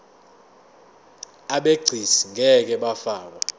abegcis ngeke bafakwa